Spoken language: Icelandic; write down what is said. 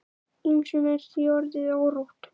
Ýmsum er því orðið órótt.